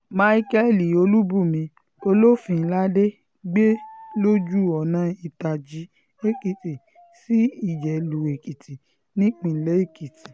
micheal olùbùnmi olófinládé gbé lójú ọ̀nà ìtàjì-èkìtì sí ìjẹ̀lù-èkìtì nípilẹ̀ èkìtì